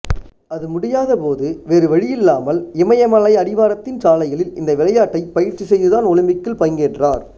அது முடியாதபோது வேறுவழியில்லாமல் இமயமலை அடிவாரத்தின் சாலைகளில் இந்த விளையாட்டைப் பயிற்சி செய்துதான் ஒலிம்பிக்கில் பங்கேற்றார்